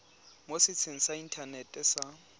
mo setsheng sa inthanete sa